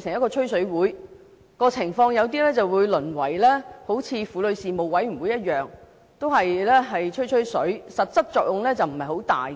成一個"吹水會"，情況或會像婦女事務委員會一樣，只是淪為"吹吹水"，實際作用不大。